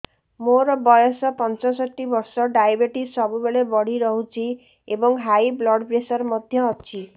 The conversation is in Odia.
ମୋର ବୟସ ପଞ୍ଚଷଠି ବର୍ଷ ଡାଏବେଟିସ ସବୁବେଳେ ବଢି ରହୁଛି ଏବଂ ହାଇ ବ୍ଲଡ଼ ପ୍ରେସର ମଧ୍ୟ ଅଛି